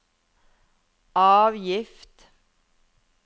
avgift